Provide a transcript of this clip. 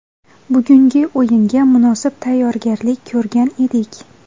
Bugungi o‘yinga munosib tayyorgarlik ko‘rgan edik.